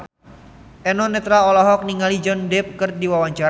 Eno Netral olohok ningali Johnny Depp keur diwawancara